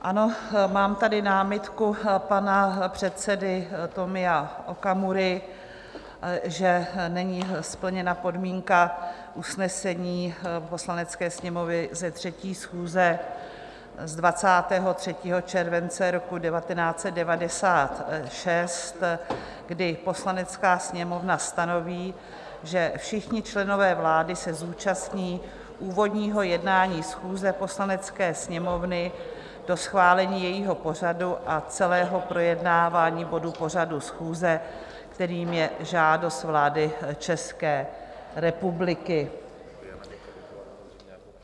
Ano, mám tady námitku pana předsedy Tomia Okamury, že není splněna podmínka usnesení Poslanecké sněmovny ze 3. schůze z 23. července roku 1996, kdy Poslanecká sněmovna stanoví, že všichni členové vlády se zúčastní úvodního jednání schůze Poslanecké sněmovny do schválení jejího pořadu a celého projednávání bodu pořadu schůze, kterým je žádost vlády České republiky.